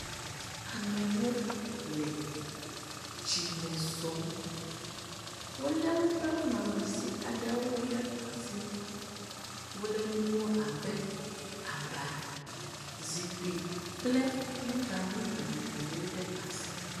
Amewo le tsi me zɔ̃m. Wolé woƒe nunɔamesi aɖewo ɖe asi. Wolé nuwo abe aba, zikpui kple nuɖanu vovovowo ɖe asi.